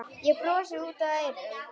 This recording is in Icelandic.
Ég brosi út að eyrum.